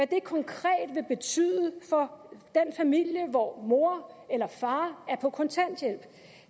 det konkret vil betyde for den familie hvor mor eller far er på kontanthjælp